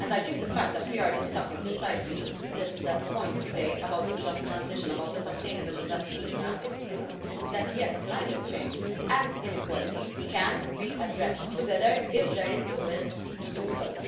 I think the fact that we are discussing precisely this point today a Just Transition and a sustainable investment plan is proof that, yes, climate change and inequalities can be addressed together if there is the will to do so.